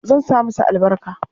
Zan sa masa albarka.